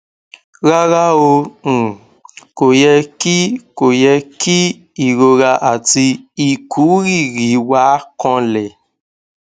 rárá o um kò yẹ kí kò yẹ kí ìrora àti ìkúrìrì wà kanlẹ